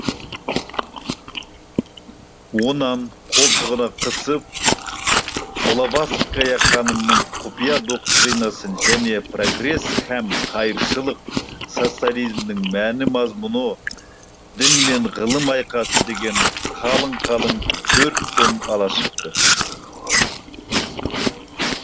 онан қолтығына қысып блаватская ханымның құпия доктринасын және прогресс һәм қайыршылық социализмнің мән мазмұны дін мен ғылым айқасы деген қалың қалың төрт том ала шықты